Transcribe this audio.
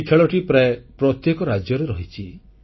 ଏହି ଖେଳଟି ପ୍ରାୟ ପ୍ରତ୍ୟେକ ରାଜ୍ୟରେ ରହିଛି